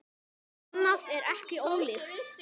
Annað er ekki ólíkt.